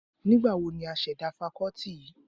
Nígbà wo ni a ṣẹ̀dá fakọ́tì yìí?